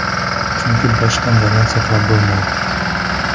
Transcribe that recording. Chunki boshdan baland sakrab bo‘lmaydi.